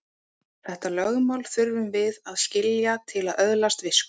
Þetta lögmál þurfum við að skilja til að öðlast visku.